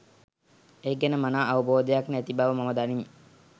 ඒ ගැන මනා අවබෝධයක් නැති බව මම දනිමි.